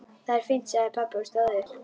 Það er fínt sagði pabbi og stóð upp.